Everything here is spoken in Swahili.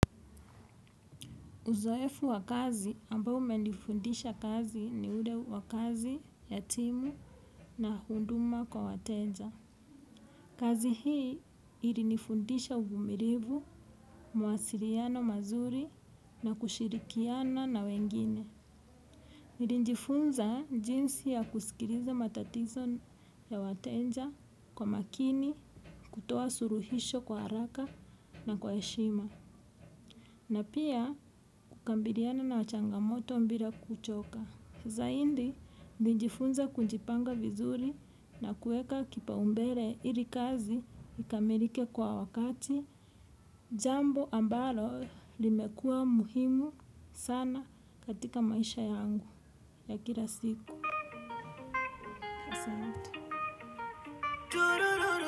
Uzoefu wa kazi ambao umenifundisha kazi ni ule wa kazi ya timu na huduma kwa wateja. Kazi hii ilinifundisha uvumilivu, mawasiliano mazuri na kushirikiana na wengine. Nilijifunza jinsi ya kusikiliza matatizo ya wateja kwa makini, kutoa suluhisho kwa haraka na kwa heshima. Na pia kukabiliana na changamoto bila kuchoka. Zaidi, nilijifunza kujipanga vizuri na kuweka kipaumbele ili kazi ikamilike kwa wakati. Jambo ambalo limekuwa muhimu sana katika maisha yangu ya kila siku.